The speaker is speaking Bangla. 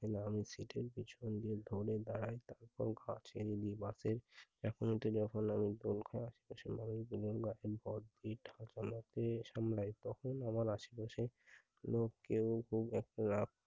কিছু সন্দেহের ঢোলের দ্বারাই অসংখ্য আচের বিলি বাঁকে এখনো তিনি ফিরে আসেন ভাই তখন আবার আশে-পাশে কোন কেউ যদি একটি রাত